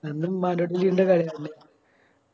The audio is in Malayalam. ൻറെ കളിയല്ല